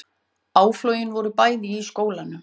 Áflogin voru bæði í skólanum